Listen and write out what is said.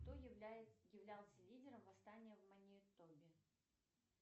кто являлся лидером восстания в манитобе